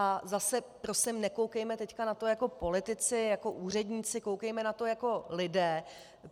A zase prosím nekoukejme teď na to jako politici, jako úředníci, koukejme na to jako lidé.